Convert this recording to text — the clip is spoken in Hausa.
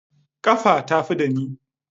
Kafa tafi ɗani.